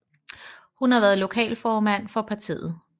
Hun har været lokalformand for partiet